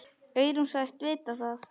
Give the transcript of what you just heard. Eyrún sagðist vita það.